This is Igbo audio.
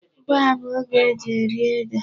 Ugbu a bụ oge e ji eri ede.